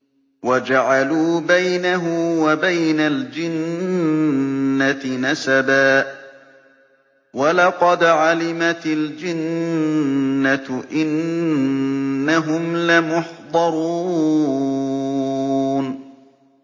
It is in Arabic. وَجَعَلُوا بَيْنَهُ وَبَيْنَ الْجِنَّةِ نَسَبًا ۚ وَلَقَدْ عَلِمَتِ الْجِنَّةُ إِنَّهُمْ لَمُحْضَرُونَ